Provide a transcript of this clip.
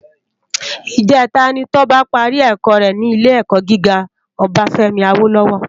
Ijètá ni Toba pàrí èkò rè ni Ilé èkò gigá Obafemi Awolowo